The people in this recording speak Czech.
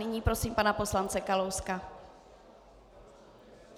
Nyní prosím pana poslance Kalouska.